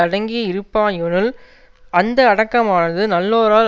அடங்கி இருப்பாயொனில் அந்த அடக்கமானது நல்லோரால்